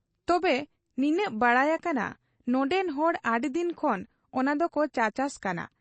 ᱛᱚᱵᱮ, ᱱᱤᱱᱟᱹᱜ ᱵᱟᱰᱟᱭ ᱟᱠᱟᱱᱟ ᱱᱚᱱᱰᱮᱱ ᱦᱚᱲ ᱟᱹᱰᱤᱫᱤᱱ ᱠᱷᱚᱱ ᱚᱱᱟᱫᱚᱠᱚ ᱪᱟᱪᱟᱥ ᱠᱟᱱᱟ ᱾